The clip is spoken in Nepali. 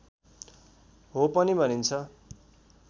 हो पनि भनिन्छ